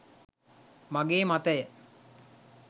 මගේ මතය.